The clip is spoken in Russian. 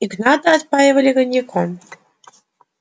игната отпаивали коньяком